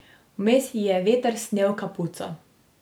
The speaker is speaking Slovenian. Vmes ji je veter snel kapuco.